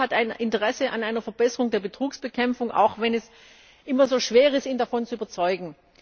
Auch der Rat hat ein Interesse an einer Verbesserung der Betrugsbekämpfung, auch wenn es immer so schwer ist, ihn davon zu überzeugen.